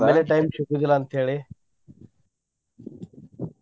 ಮದ್ಲೆ time ಸಿಗುದಿಲ್ಲಾ ಅಂತ ಹೇಳಿ .